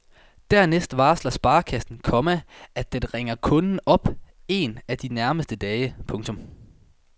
Dernæst varsler sparekassen, komma at den ringer kunden op en af de nærmeste dage. punktum